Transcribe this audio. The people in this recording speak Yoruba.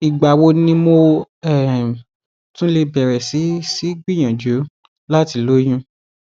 ìgbà wo ni mo um tún lè bẹrẹ sí sí í gbìyànjú láti lóyún